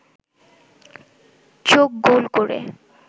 চোখ গোল করে